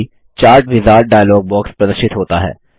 साथ ही chart wizard dialog box प्रदर्शित होता है